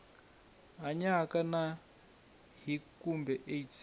hanyaka na hiv kumbe aids